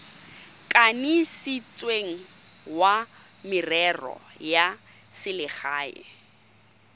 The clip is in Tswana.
kanisitsweng wa merero ya selegae